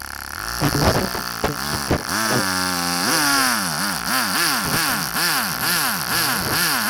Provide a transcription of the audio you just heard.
you dey set in ten tions for work or your um personal um life?